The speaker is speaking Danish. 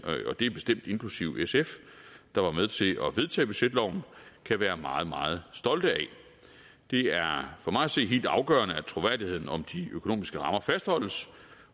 og det er bestemt inklusive sf der var med til at vedtage budgetloven kan være meget meget stolte af det er for mig at se helt afgørende at troværdigheden om de økonomiske rammer fastholdes